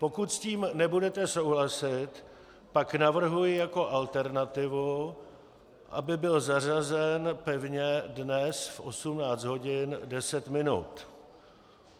Pokud s tím nebudete souhlasit, pak navrhuji jako alternativu, aby byl zařazen pevně dnes v 18 hodin 10 minut.